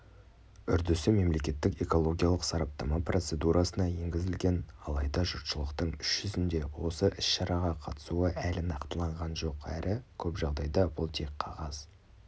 үрдісі мемлекеттік экологиялық сараптама процедурасына енгізілген алайда жұртшылықтың іс жүзінде осы іс шараға қатысуы әлі нақтыланған жоқ әрі көп жағдайда бұл тек қағаз